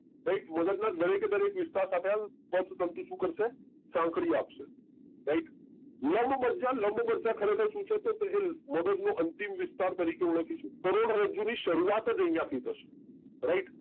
right મગજ ના દરેક એ દરેક વિસ્તાર સાથે આ પથ તંતુ શું કરશે સાંકળી આપશે Right લંબમજ્જા લંબમજ્જા ખરેખર શું છે કે એ મદદ નો અંતિમ વિસ્તાર તરીખે ઓળખીશું કરોડરજ્જુ ની શરૂવાત જ આઇયા થી થશે રાઈટ